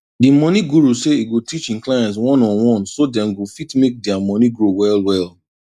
di money guru say e go teach hin clients oneonone so dem go fit make dia money grow well well